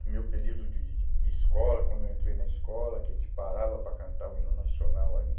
do meu período de de de de escola, quando eu entrei na escola, que a gente parava para cantar o hino nacional ali.